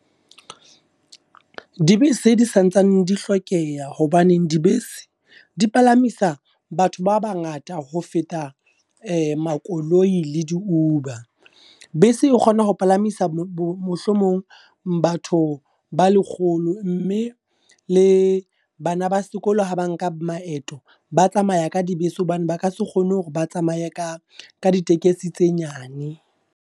Dibese di santsane di hlokeha, hobaneng dibese, di palamisa batho ba bangata ho feta makoloi le di-Uber. Bese e kgona ho palamisa mohlomong batho ba lekgolo. Mme le bana ba sekolo ha ba nka maeto, ba tsamaya ka dibese hobane ba ka se kgone hore ba tsamaye ka ka ditekesi tse nyane.